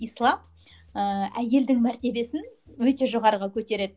ислам ыыы әйелдің мәртебесін өте жоғарыға көтереді